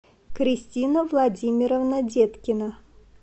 кристина владимировна деткина